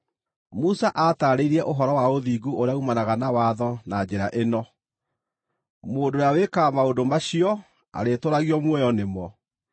Musa aataarĩirie ũhoro wa ũthingu ũrĩa uumanaga na watho na njĩra ĩno: “Mũndũ ũrĩa wĩkaga maũndũ macio arĩtũũragio muoyo nĩmo.”